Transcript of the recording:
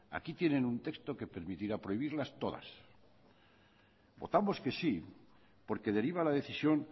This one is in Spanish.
aquí tienen un texto que permitirá prohibirlas todas votamos que sí porque deriva la decisión